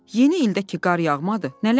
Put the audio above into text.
Yeni ildə ki, qar yağmadı, nə ləzzəti?"